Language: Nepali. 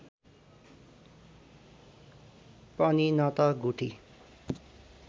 पनि न त गुठी